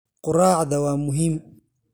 Quraacda waa muhiim.